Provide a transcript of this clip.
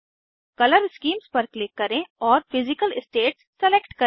colour schemes पर click करें और फिजिकल स्टेट्स सलेक्ट करें